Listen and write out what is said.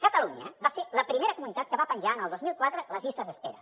catalunya va ser la primera comunitat que va penjar el dos mil quatre les llistes d’espera